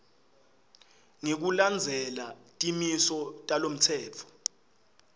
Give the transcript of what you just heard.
ngekulandzela timiso talomtsetfo